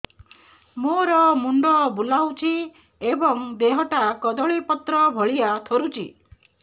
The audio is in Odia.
ମୋର ମୁଣ୍ଡ ବୁଲାଉଛି ଏବଂ ଦେହଟା କଦଳୀପତ୍ର ଭଳିଆ ଥରୁଛି